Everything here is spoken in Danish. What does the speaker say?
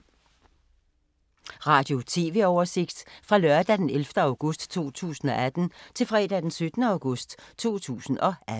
Radio/TV oversigt fra lørdag d. 11. august 2018 til fredag d. 17. august 2018